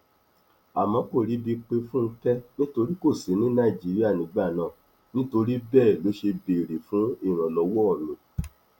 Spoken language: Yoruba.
àmọ kò ríbi pé fúnkẹ nítorí kò sí ní nàìjíríà nígbà náà nítorí bẹẹ ló ṣe béèrè fún ìrànlọwọ mi